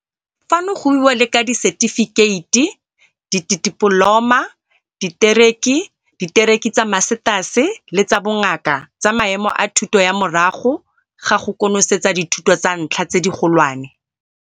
Fano go buiwa le ka disetifikheiti, ditipoloma, ditekerii, ditekerii tsa masetase le tsa Bongaka tsa maemo a thuto ya morago ga go konosetsa dithuto tsa ntlha tse digolwane.